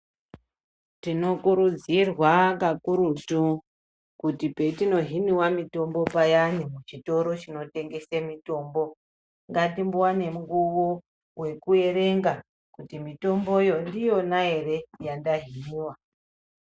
Tinokurudzirwa kakurutu kuti petinohiniwa mitombo payani muchitoro chinotengese mitombo. Ngatimbowane munguwo wekumboerenga kuti mitomboyo ndiyona ere yandahinwa.